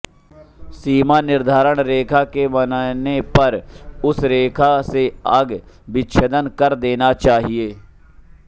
सीमा निर्धारण रेखा के बनने पर उस रेखा से अग विच्छदन कर देना चाहिये